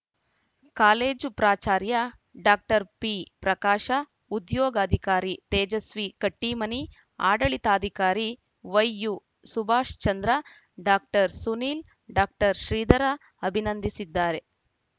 college ಪ್ರಾಚಾರ್ಯ doctor P Prakash ಉದ್ಯೋಗಾಧಿಕಾರಿ ತೇಜಸ್ವಿ ಕಟ್ಟಿಮನಿ ಆಡಳಿತಾಧಿಕಾರಿ ವೈಯುಸುಭಾಶ್‌ಚಂದ್ರ ಡಾಕ್ಟರ್ ಸುನಿಲ್‌ ಡಾಕ್ಟರ್ ಶ್ರೀಧರ ಅಭಿನಂದಿಸಿದ್ದಾರೆ